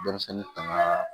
Denmisɛnnin tanga